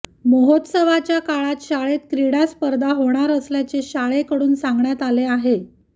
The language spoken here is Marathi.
महोत्सवाच्या काळात शाळेत क्रिडा स्पर्धा होणार असल्याचे शाळेकडून सांगण्यात आले आहे